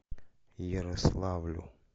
ярославлю